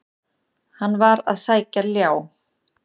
Hann var að sækja ljá.